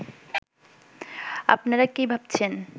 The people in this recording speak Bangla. আপনারা কী ভাবছেন